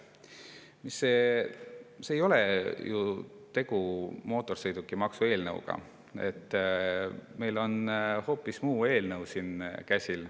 Siin ei ole ju tegu mootorsõidukimaksu eelnõuga, meil on hoopis muu eelnõu käsil.